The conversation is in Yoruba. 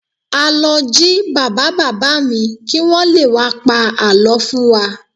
A lọ jí bàbá bàbá mi kí wọ́n lé wá pa àlọ́ fún wa